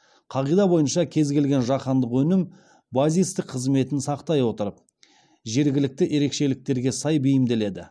қағида бойынша кез келген жаһандық өнім базистік қызметін сақтай отырып жергілікті ерекшеліктерге сай бейімделеді